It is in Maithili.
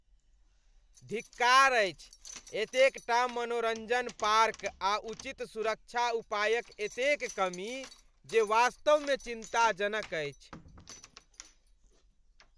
धिक्कार अछि, एतेकटा मनोरञ्जन पार्क आ उचित सुरक्षा उपायक एतेक कमी जे वास्तवमे चिन्ताजनक अछि।